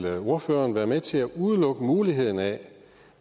ordføreren være med til at udelukke muligheden af